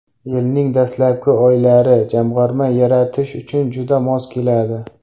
Yilning dastlabki oylari jamg‘arma yaratish uchun juda mos keladi.